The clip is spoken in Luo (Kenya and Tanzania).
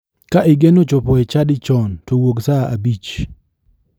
Ka igeno chopo e chadi chon to wuog saa abich.